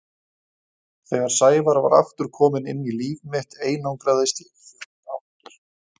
Þegar Sævar var aftur kominn inn í líf mitt einangraðist ég fljótt aftur.